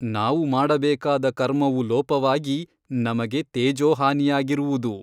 ನಾವು ಮಾಡಬೇಕಾದ ಕರ್ಮವು ಲೋಪವಾಗಿ ನಮಗೆ ತೇಜೋಹಾನಿಯಗಿರುವುದು.